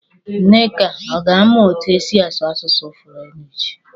Nneka ọ ga-amụ etu esi asụ asụsụ Furenchi?